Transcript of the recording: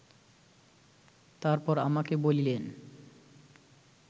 তারপর আমাকে বলিলেন